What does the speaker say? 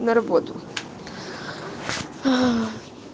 на работу ах